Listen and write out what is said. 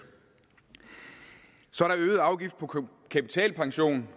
så er der øget afgift på kapitalpension